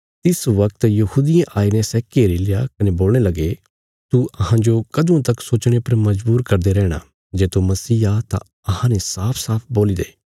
तिस बगत यहूदियें आईने सै घेरील्या कने बोलणे लगे तू अहांजो कदुआं तक सोचणे पर मजबूर करदे रैहणा जे तू मसीह आ तां अहांने साफसाफ बोल्ली दे